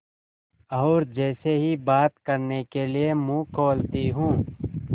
और जैसे ही बात करने के लिए मुँह खोलती हूँ